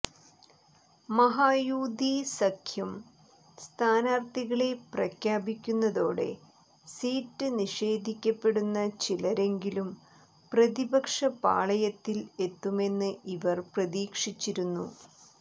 മഹായൂതി സഖ്യം സ്ഥാനാർത്ഥികളെ പ്രഖ്യാപിക്കുന്നതോടെ സീറ്റ് നിഷേധിക്കപ്പെടുന്ന ചിലരെങ്കിലും പ്രതിപക്ഷ പാളയത്തിൽ എത്തുമെന്ന് ഇവർ പ്രതീക്ഷിച്ചിരുന്നു